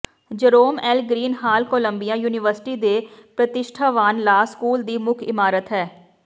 Jerome L Green Hall Columbia University ਦੇ ਪ੍ਰਤਿਸ਼ਠਾਵਾਨ law school ਦੀ ਮੁੱਖ ਇਮਾਰਤ ਹੈ